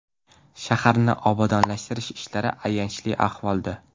Shaharni obodonlashtirish ishlari ayanchli ahvolda.